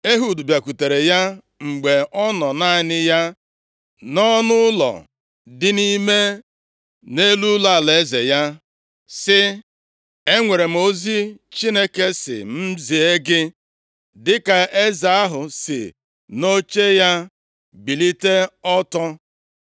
Ehud bịakwutere ya mgbe ọ nọ naanị ya nʼọnụụlọ dị nʼime nʼelu ụlọeze ya, sị, “Enwere m ozi Chineke sị m zie gị.” Dịka eze ahụ si nʼoche ya bilite ọtọ,